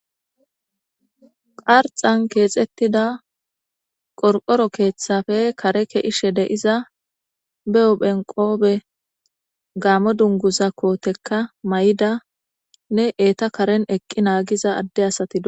qarxan keexettida qorqoro keeththafe kare ke'ishe de'iza be huphen qoobe gaamo dunguza kootekka mayida nne eeta karen eqqi naagiza adde asati doosona